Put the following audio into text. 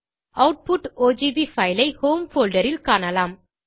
output OGV file ஐ home folder ல் காணலாம்